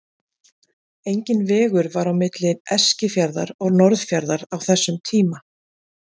Enginn vegur var á milli Eskifjarðar og Norðfjarðar á þessum tíma.